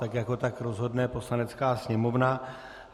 Tak jako tak rozhodne Poslanecká sněmovna.